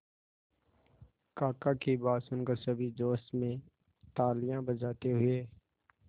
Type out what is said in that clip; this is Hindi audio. काका की बात सुनकर सभी जोश में तालियां बजाते हुए